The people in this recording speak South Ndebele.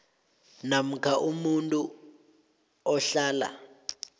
namkha umuntu ohlala